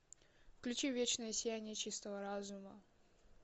включи вечное сияние чистого разума